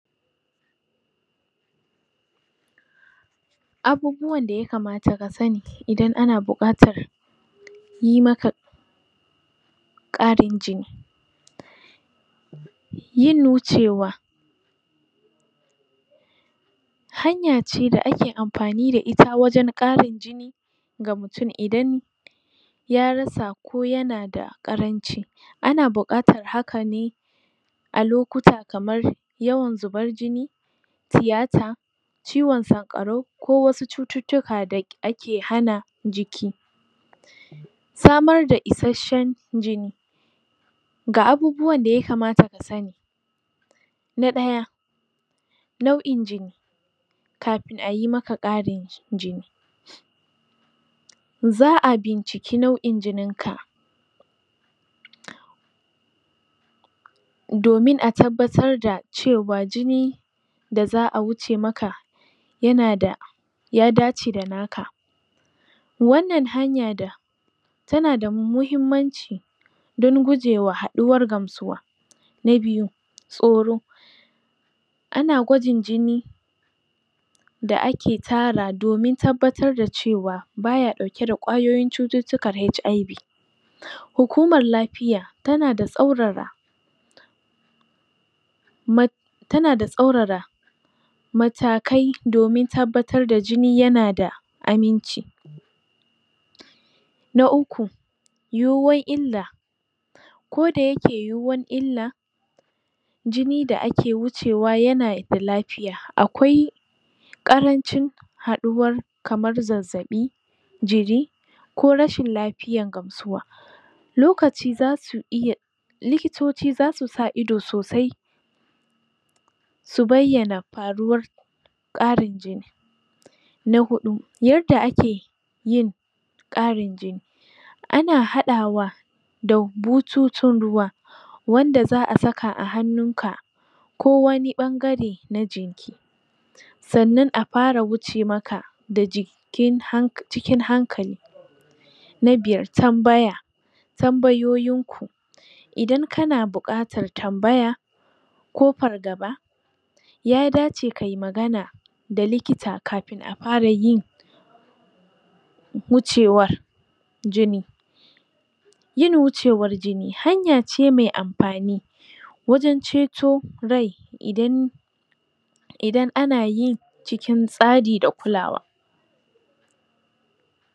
Abubuwan da yakamata kasani idan ana buƙatar yimaka ƙarin jini yin wucewa hanyace da ake amfani da ita wajan ƙarin jini ga mutun idan ya rasa ko yanada ƙaranci ana buƙatar hakane a lokuta kamar yawan zubar jini tiyata ciwon sanƙarau ko wasu cututtuka da ake hana jiki samar da ishashshan jini ga abubuwan da yakamata kasani na ɗaya nau in jini kafin ayi maka ƙari jini za abunciki nau in jininka domin a tabbatar da cewa jini daza a wuce maka yanada ya dace da naka wannan hanya da tanada muhimmanci don gujewa haɗuwar gamsuwa na biyu tsoro ana gwajin jini da ake tara domin tabbatar da cewa baya ɗauke da ƙwayoyin cututtukan HIV hukuman lafiya tana da tsaurara ma tana da tsaurara matakai domin tabbatar da jini yana da aminci na uku yuwuwar illa ko da yake yuwuwan illa jini da ake wucewa yana da lafiya akwai ƙaranci haɗuwar kamar zazzaɓi jiri ko rashin lafiyan gamsuwa lokaci zasu iya likitoci zasu sa ido sosai su baiyana faruwar ƙarin jini na huɗu yarda ake yin ƙarin jini ana haɗawa da bututun ruwa wanda za a saka a hannunka kowani ɓangare na jinki sannan afara wuce maka da jikin, cikin hankali na biyar tambaya tambayoyinku idan kana buƙatar tambaya ko fargaba ya dace kai magana da likita kafin afarayin wucewar jini yin wucewar jini hayace mai amfani wajan ceto rai idan idan anayin cikin tsari da kulawa